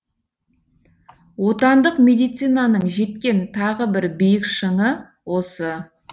отандық медицинаның жеткен тағы бір биік шыңы осы